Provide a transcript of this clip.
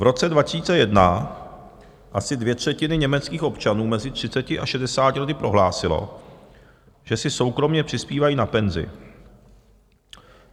V roce 2001 asi dvě třetiny německých občanů mezi 30 a 60 lety prohlásilo, že si soukromě přispívají na penzi.